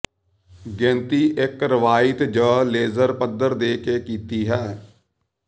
ਗਿਣਤੀ ਇੱਕ ਰਵਾਇਤੀ ਜ ਲੇਜ਼ਰ ਪੱਧਰ ਦੇ ਕੇ ਕੀਤੀ ਹੈ